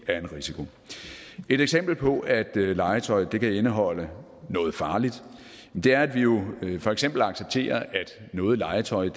er en risiko et eksempel på at legetøj kan indeholde noget farligt er at vi jo for eksempel accepterer at noget legetøj